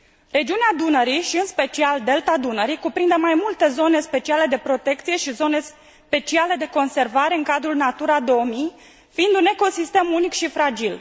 Regiunea Dunării și, în special, Delta Dunării cuprinde mai multe zone speciale de protecție și zone speciale de conservare în cadrul Natura 2000, fiind un ecosistem unic și fragil.